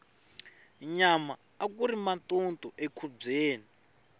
nyama akuri matutu le nkhubyeni